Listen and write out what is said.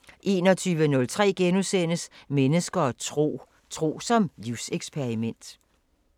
* 21:03: Mennesker og tro: Tro som livseksperiment *